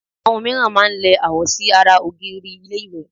Àwọn mìíràn máá ń lẹ àwo sí ara ògiri ilé ìwẹ̀